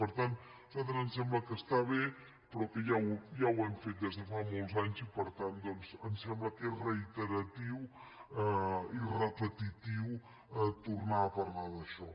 per tant a nosaltres ens sembla que està bé però que ja ho hem fet des de fa molts anys i per tant doncs em sembla que és reiteratiu i repetitiu tornar a parlar d’això